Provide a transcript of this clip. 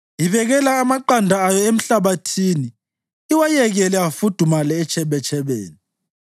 Ibekela amaqanda ayo emhlabathini iwayekele afudumale etshebetshebeni,